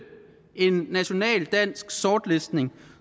en national dansk sortlistning